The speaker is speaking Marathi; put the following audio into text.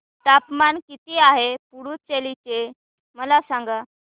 तापमान किती आहे पुडुचेरी चे मला सांगा